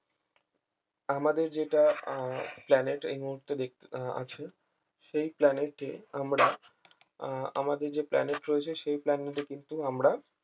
আমাদের যেটা আহ planet এই মুহূর্তে দেখতে আহ আছে সেই planet এ আমরা আহ আমাদের যে planet রয়েছে সেই planet এ কিন্তু আমরা